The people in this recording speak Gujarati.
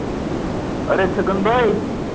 અરે છગનભાઈ.